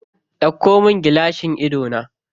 Ɗauko min gilashin idona.